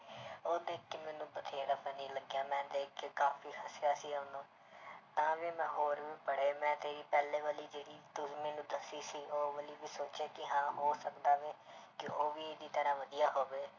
ਉਹ ਦੇਖ ਕੇ ਮੈਨੂੰ ਬਥੇਰਾ funny ਲੱਗਿਆ ਮੈਂ ਦੇਖ ਕੇ ਕਾਫ਼ੀ ਹੱਸਿਆ ਸੀ ਉਹਨੂੰ ਤਾਂ ਵੀ ਮੈਂ ਹੋਰ ਵੀ ਪੜ੍ਹੇ ਮੈਂ ਕਈ ਪਹਿਲੇ ਵਾਲੀ ਜਿਹੜੀ ਤੂੰ ਮੈਨੂੰ ਦੱਸੀ ਸੀ ਉਹ ਵਾਲੀ ਵੀ ਸੋਚਿਆ ਕਿ ਹਾਂ ਹੋ ਸਕਦਾ ਵੀ ਕਿ ਉਹ ਵੀ ਇਹਦੀ ਤਰ੍ਹਾਂ ਵਧੀਆ ਹੋਵੇ।